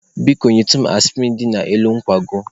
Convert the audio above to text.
Biko nyetụ m aspirin dị n'elu nkwago.